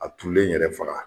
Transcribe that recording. A turulen yɛrɛ faga..